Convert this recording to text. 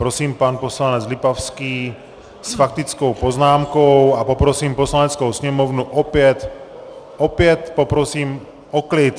Prosím, pan poslanec Lipavský s faktickou poznámkou a poprosím Poslaneckou sněmovnu opět - opět poprosím o klid.